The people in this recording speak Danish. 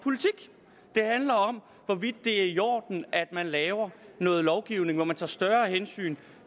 hvorvidt det er i orden at man laver noget lovgivning hvor man tager større hensyn